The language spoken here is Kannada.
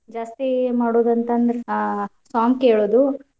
ಜಾಸ್ತಿ ಮಾಡೋದಂತಂದ್ರೆ song ಕೇಳೋದು